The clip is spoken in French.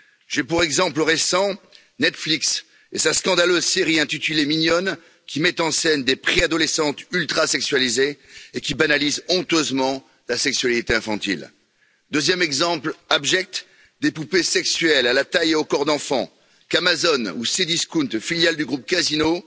J'ai pour exemple récent Netflix et sa scandaleuse série intitulée Mignonnes, qui met en scène des préadolescentes ultra sexualisées et banalise honteusement la sexualité infantile. Deuxième exemple abject des poupées sexuelles à la taille et au corps d'enfant qu'Amazon ou Cdiscount, filiale du groupe Casino,